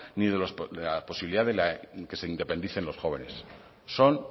ni los de la posibilidad que se independicen los jóvenes son